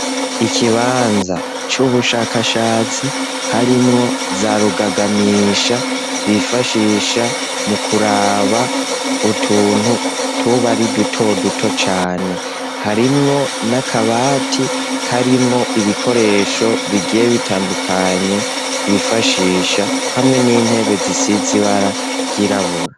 Ikibanza c'ubushakashatsi harimwo za rugagamisha bifashisha mu kuraba utuntu tuba ari duto duto cane, harimwo n'akabati karimwo ibikoresho bigiye bitandukanye bifashisha, hamwe n'intebe zisize ibara ryirabura.